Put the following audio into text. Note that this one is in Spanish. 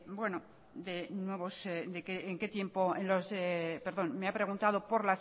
nuevos en qué tiempos perdón me ha preguntado